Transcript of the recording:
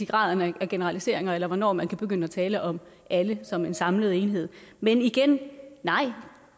graden af generaliseringer eller hvornår man kan begynde at tale om alle som en samlet enhed men igen nej